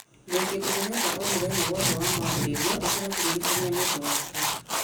ndĩ kĩndũ ndĩrenda o mũthenya wothe wa mwambĩrĩrio ĩkĩra kĩririkania nĩũndũ wakĩo